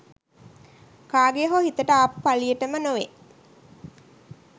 කාගේ හෝ හිතට ආපු පලියටම නොවේ